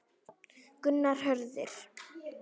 Gunnar Hörður.